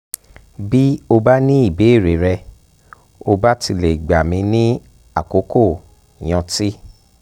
bí o bá ní ìbéèrè rẹ̀ o bá ti lè gbà mí ní àkókò yọ̀ǹtì